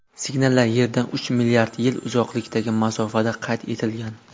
Signallar Yerdan uch milliard yil uzoqlikdagi masofada qayd etilgan.